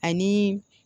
Ani